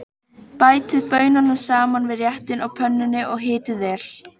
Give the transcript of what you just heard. Bætið baununum saman við réttinn á pönnunni og hitið vel.